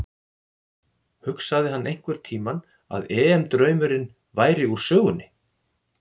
Hugsaði hann einhverntímann að EM draumurinn væri úr sögunni?